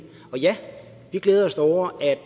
ja vi glæder os da over at